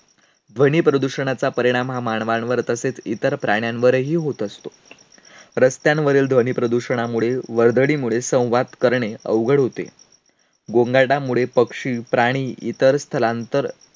ध्वनीप्रदूषणाचा परिणाम हा मानवांवर तसेच इतर प्राण्यांवरही होत असतो. रस्त्यांवरील ध्वनीप्रदूषणामुळे, वर्दळीमुळे संवाद करणे अवघड होते. गोंगाटामुळे पक्षी, प्राणी इतर स्थलांतर